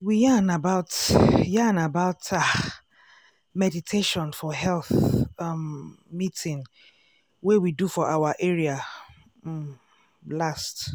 we yarn about yarn about ah! meditation for health um meeting wey we do for our area um last.